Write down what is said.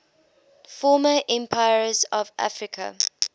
former empires of africa